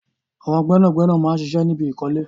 Àwọn gbẹ́nàgbẹ́nà máa ń ṣiṣẹ́ ní ibi ìkọ́lé